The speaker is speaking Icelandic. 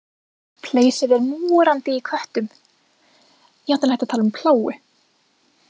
Pleisið er morandi í köttum, jafnvel hægt að tala um plágu.